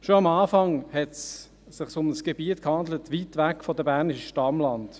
Schon am Anfang handelte es sich um ein Gebiet fern ab der bernischen Stammlande.